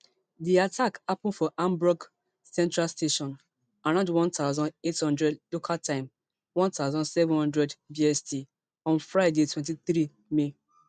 di attack happun for hamburg central station around one thousand, eight hundred local time one thousand, seven hundred bst on friday twenty-three may